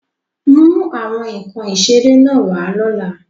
Mú àwọn nkan ìṣeré náà wá lọ́la!